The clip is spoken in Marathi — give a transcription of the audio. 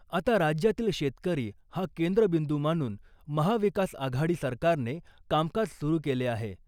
आता राज्यातील शेतकरी हा केंद्रबिंदू मानून महा विकास आघाडी सरकारने कामकाज सुरू केले आहे .